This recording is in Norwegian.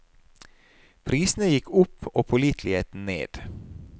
Prisene gikk opp og påliteligheten ned.